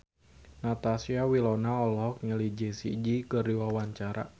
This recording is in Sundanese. Natasha Wilona olohok ningali Jessie J keur diwawancara